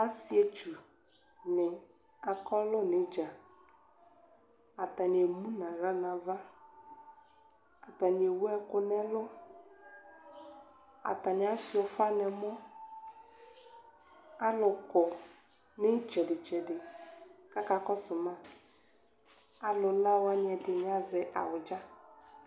Asietsʋ nʋ akɔlʋ nʋ idza atani emʋnʋ aɣla nʋ ava atani ewʋ ɛkʋ nʋ ɛlʋ atani asuia ʋfa nʋ ɛmɔ alʋkɔ nʋ itsɛdi tsɛdi kʋ aka kɔsʋ ma alʋ la wani ɛdini azɛ awʋdza